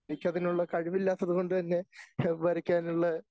എനിക്കതിനുള്ള കഴിവില്ലാത്തതുകൊണ്ടുതന്നെ വരയ്ക്കാനുള്ള